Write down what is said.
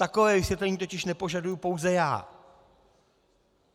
Takové vysvětlení totiž nepožaduji pouze já.